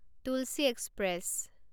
Tulsi express